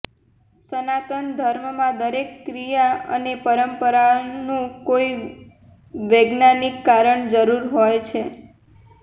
સનાતન ધર્મમાં દરેક ક્રિયા અને પરંપરાનું કોઈ વેજ્ઞાનિક કારણ જરૂર હોય છે